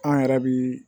An yɛrɛ bi